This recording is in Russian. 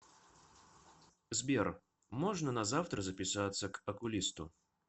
сбер можно на завтра записаться к окулисту